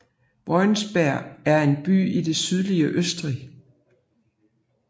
Voitsberg er en by i det sydøstlige Østrig